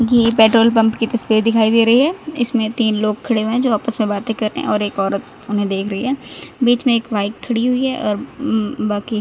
ये petrol pump की तस्वीर दिखाई दे रही है इसमें तीन लोग खड़े हुए हैं जो आपस में बातें कर रहे हैं और एक औरत उन्हें देख रही है बीच में एक बाइक खड़ी हुई है और बाकी--